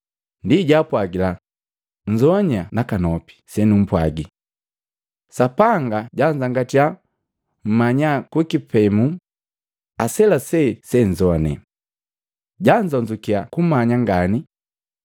Ndi jaapwagila, “Nzoanya nakanopi senumpwagii! Sapanga janzangatya nmanya kukipemu aselasee se senzoane, janzonzukiya kumanya ngani.